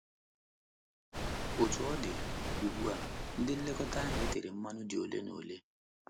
Otú ọ dị, ugbu a, ndị nlekọta ahụ e tere mmanụ dị ole na ole.